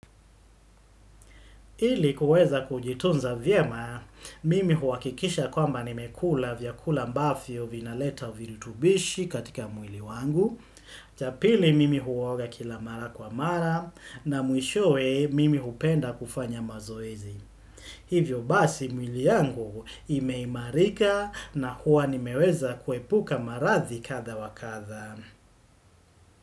Ili kuweza kujitunza vyema, mimi huhakikisha kwamba nimekula vyakula ambavyo vinaleta virutubishi katika mwili wangu. Cha pili mimi huoga kila mara kwa mara na mwishoe mimi hupenda kufanya mazoezi. Hivyo basi mwili yangu imeimarika na huwa nimeweza kuepuka marathi kadhaa wa kadhaa.